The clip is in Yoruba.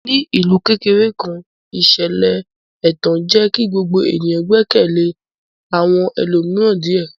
Ní ìlú kékeré kan, ìṣẹ̀lẹ̀ ẹ̀tàn jẹ́ kí gbogbo ènìyàn gbẹ́kẹ̀lé àwọn ẹlòmíràn díẹ̀.